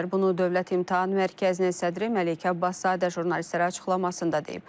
Bunu Dövlət İmtahan Mərkəzinin sədri Məleykə Abbaszadə jurnalistlərə açıqlamasında deyib.